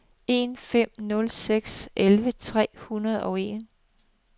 en fem nul seks elleve tre hundrede og en